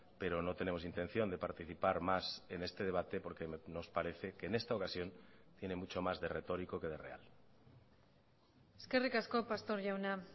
pero no tenemos intención de participar más en este debate porque nos parece que en esta ocasión tiene mucho más de retórico que de real eskerrik asko pastor jauna